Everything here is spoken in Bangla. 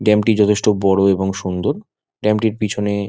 ড্যাম -টি যথেষ্ট বড়ো এবং সুন্দর ড্যাম -টির পিছনে--